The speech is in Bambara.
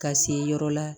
Ka se yɔrɔ la